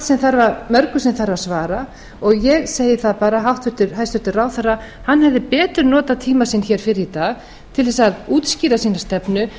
sem þarf að svara og ég segi það bara að hæstvirtur ráðherra hefði betur notað tíma sinn hér fyrr í dag til þess að útskýra sína stefnu en að